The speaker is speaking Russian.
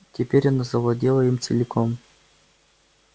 теперь оно завладело им целиком